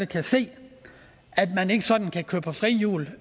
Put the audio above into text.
kan se at man ikke sådan kan køre på frihjul